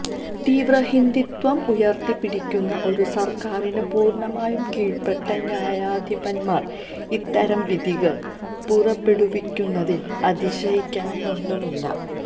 തീവ്രഹിന്ദുത്വം ഉയര്ത്തിപ്പിടിക്കുന്ന ഒരു സര്ക്കാരിന് പൂര്ണ്ണമായും കീഴ്പ്പെട്ട ന്യായാധിപന്മാര് ഇത്തരം വിധികള് പുറപ്പെടുവിക്കുന്നതില് അതിശയിക്കാനൊന്നുമില്ല